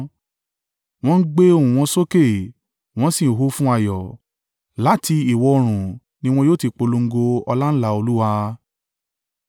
Wọ́n gbé ohùn wọn sókè, wọ́n sì hó fún ayọ̀; láti ìwọ̀-oòrùn ni wọn yóò ti polongo ọláńlá Olúwa.